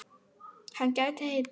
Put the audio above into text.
Hann gæti heitið